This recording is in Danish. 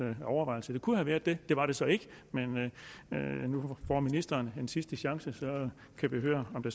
overvejelser det kunne have været det det var det så ikke men nu får ministeren en sidste chance og så kan vi høre om